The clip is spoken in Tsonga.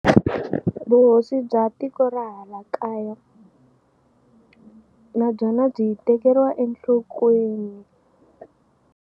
Vuhosi bya tiko ra hala kaya na byona byi tekeriwa enhlokweni.